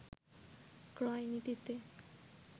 ক্রয় নীতিতে